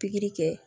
Pikiri kɛ